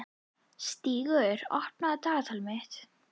Stígur, opnaðu dagatalið mitt.